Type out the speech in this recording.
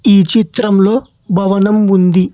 ఈ చిత్రం లో భవనం ఉంది.